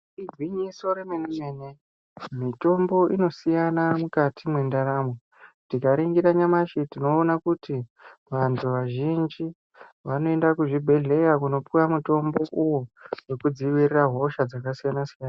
Igwinyiso remene mene mitombo inosiyana mukati mwendaramo, tikaningira nyamushi tinoona kuti vantu vazhinji vanoenda kuzvibhehlera kunopuwa mitombo uwo wekudzirira hosha dzakasiyana siyana .